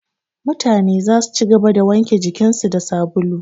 Mutane zasu ci gaba da wanke jikin su da sabulu